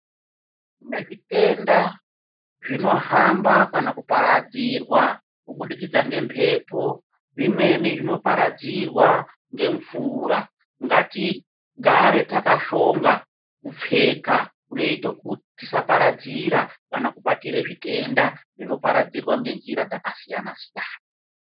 Kune zvitenda zvinohamba kana kuparadzirwa kubudikidza ngemhepo zvimweni zvino paradzirwa ngemvura. Ngatigare takashonga kupfeka kunoita kuti tisaparadzira kana kubatira zvitenda zvinoparadzirwa ngenjira dzaka siyana siyana.